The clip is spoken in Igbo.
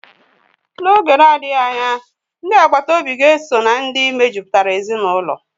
N'oge na-adịghị anya, ndi agbata obi ga-esó na ndị mejupụtara ezinụlọ